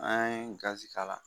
An ye gazi k'a la